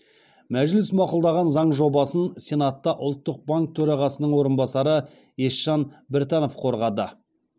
мәжіліс мақұлдаған заң жобасын сенатта ұлттық банк төрағасының орынбасары есжан біртанов қорғады